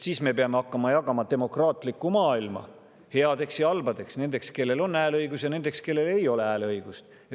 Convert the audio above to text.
Siis me peame hakkama jagama demokraatlikku maailma headeks ja halbadeks, nendeks, kellel on hääleõigus, ja nendeks, kellel ei ole hääleõigust.